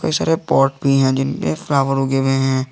बहुत सारे पॉट भी हैं जिनपे फ्लावर उगे हुए हैं।